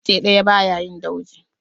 Icce ɗaya ba ya yi dauji.